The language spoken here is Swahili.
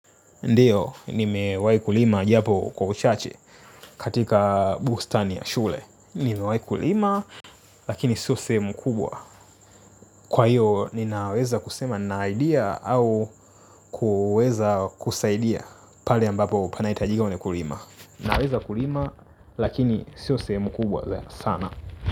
Ndio, nimewahi kulima japo kwa uchache katika bustani ya shule. Nimewahi kulima, lakini sio sehemu kubwa. Kwa hiyo, ninaweza kusema naidia au kuweza kusaidia pale ambapo panahitajika wenye kulima. Naweza kulima, lakini sio sehemu kubwa sana.